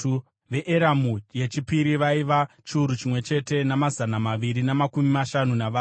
veEramu yechipiri vaiva chiuru chimwe chete namazana maviri namakumi mashanu navana;